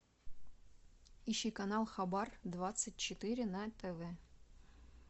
ищи канал хабар двадцать четыре на тв